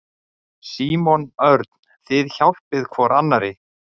Símon Örn: Þið hjálpið hvor annarri?